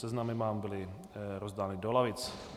Seznamy vám byly rozdány do lavic.